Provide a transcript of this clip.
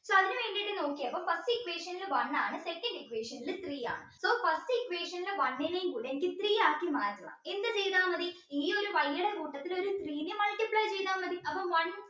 നോക്കിയപ്പോ first equation ൽ one ആണ് second equation ൽ three ആണ് so first equation ലെ one നേം കൂടെ എനിക്ക് three ആക്കി മാറ്റണം എന്ത് ചെയ്ത മതി ഈ ഒരു Y ടെ കൂട്ടത്തിൽ three നെ multiply ചെയ്ത മതി അപ്പൊ one